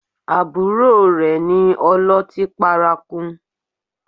Àbúrò rẹ ni ọlọ́tí paraku